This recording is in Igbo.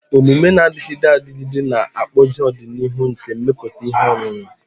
Omume na-adịgide adịgide ga-akpụzi ọdịnihu nke mmepụta ihe ọṅụṅụ.